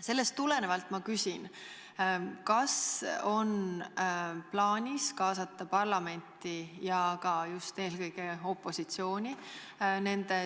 Sellest tulenevalt ma küsin: kas on plaanis kaasata parlamenti ja sh ka opositsiooni